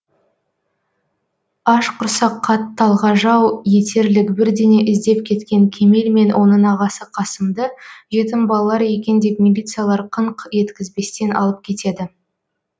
аш құрсаққа талғажау етерлік бірдеңе іздеп кеткен кемел мен оның ағасы қасымды жетім балалар екен деп милициялар қыңқ еткізбестен алып кетеді